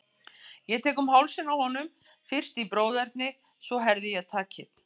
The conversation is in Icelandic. Ég tek um hálsinn á honum, fyrst í bróðerni, svo herði ég takið.